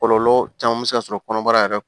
Kɔlɔlɔ caman bɛ se ka sɔrɔ kɔnɔbara yɛrɛ